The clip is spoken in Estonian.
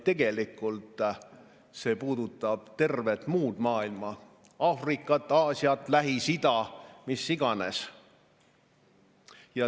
Tegelikult see puudutab tervet muud maailma: Aafrikat, Aasiat, Lähis-Ida, mida iganes.